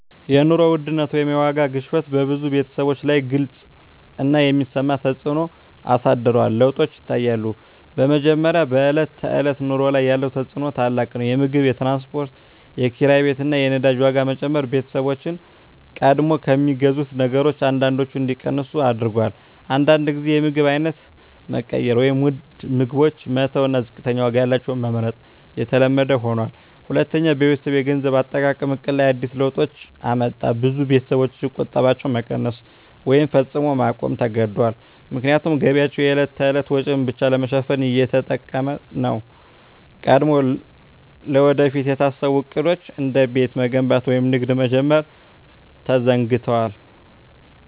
የኑሮ ውድነት (የዋጋ ግሽበት) በብዙ ቤተሰቦች ላይ ግልጽ እና የሚሰማ ተፅዕኖ አሳድሯል። ለውጦች ይታያሉ፦ በመጀመሪያ፣ በዕለት ተዕለት ኑሮ ላይ ያለው ተፅዕኖ ታላቅ ነው። የምግብ፣ የትራንስፖርት፣ የኪራይ ቤት እና የነዳጅ ዋጋ መጨመር ቤተሰቦችን ቀድሞ ከሚገዙት ነገሮች አንዳንዶቹን እንዲቀንሱ አድርጎአል። አንዳንድ ጊዜ የምግብ አይነት መቀየር (ውድ ምግቦችን መተው እና ዝቅተኛ ዋጋ ያላቸውን መመርጥ) የተለመደ ሆኗል። ሁለተኛ፣ በቤተሰብ የገንዘብ አጠቃቀም ዕቅድ ላይ አዲስ ለውጦች አመጣ። ብዙ ቤተሰቦች ቁጠባቸውን መቀነስ ወይም ፈጽሞ ማቆም ተገድደዋል፣ ምክንያቱም ገቢያቸው የዕለት ተዕለት ወጪን ብቻ ለመሸፈን እየተጠቀሰ ነው። ቀድሞ ለወደፊት የታሰቡ ዕቅዶች፣ እንደ ቤት መገንባት ወይም ንግድ መጀመር፣ ተዘግደዋል።